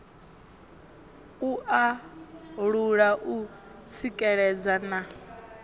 u alula u tsikeledza na